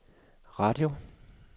radio